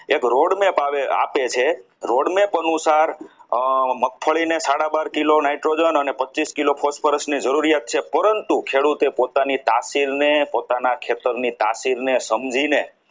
એક road ની ભાવે આપે છે road map અનુસાર મગફળીને હાડા બાર કિલો nitrogen અને પચીસ કિલો phosphorus ની જરૂરિયાત છે પરંતુ તે પોતાની તહિલને પોતાના ખેતરની તાસીરને સમજીને